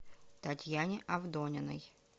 татьяне авдониной